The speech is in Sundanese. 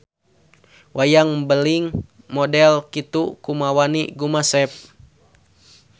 Wayang mbeling model kitu kumawani gumasep.